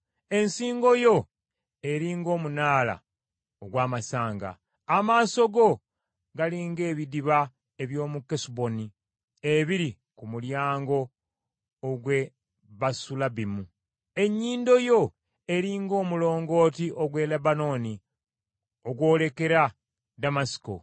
Ensingo yo eri ng’omunaala ogw’amasanga. Amaaso go gali ng’ebidiba eby’omu Kesuboni ebiri ku mulyango ogw’e Basulabbimu. Ennyindo yo eri ng’omulongooti ogw’e Lebanooni ogwolekera Ddamasiko.